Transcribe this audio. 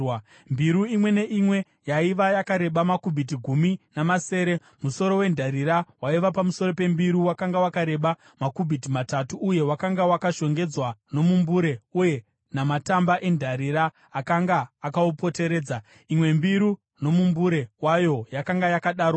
Mbiru imwe neimwe yaiva yakareba makubhiti gumi namasere . Musoro wendarira waiva pamusoro pembiru wakanga wakareba makubhiti matatu uye wakanga wakashongedzwa nomumbure uye namatamba endarira akanga akaupoteredza. Imwe mbiru nomumbure wayo yakanga yakadarowo.